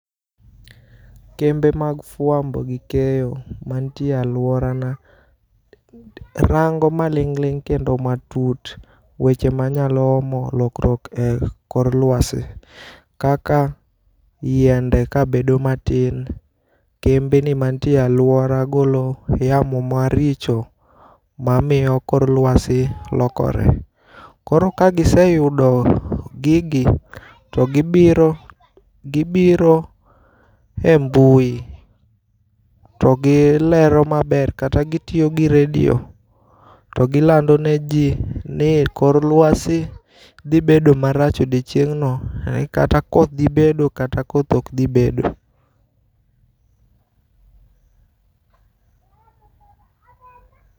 Kembe mag fuambo gi keyo mantiere e aluorana, rango' maling'ling' kendo matut weche manyalo lok rok kor lwasi, kaka yiende kabedo matin, kembe mantiere e aluora magolo yamo maricho mamiyo kor luasi lokore, koro ka giseyudo gigi to gibiro e mbui to gilero maber kata gitiyo gi radio to gilando ne ji ni kor lwasi thibedo marach odiochieng'no, kata koth thi bedo kata koth ok thi bedo.